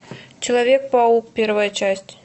человек паук первая часть